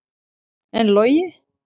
En Logi?